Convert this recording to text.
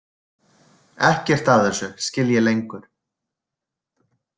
Ekkert af þessu skil ég lengur.